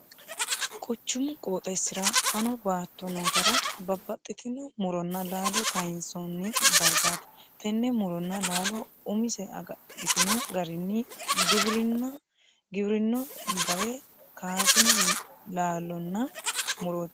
Quchumu qooxeesira fano baatto nootera babbaxitino muronna laallo kayinsoonni dargaati. Tenne muronna laallo umise agadhitino garinni giwirinno dare kaasino laallonna murooti.